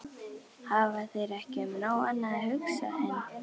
Hafa þeir ekki um nóg annað að hugsa en.